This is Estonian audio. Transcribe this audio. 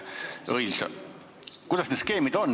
Kuidas need skeemid on?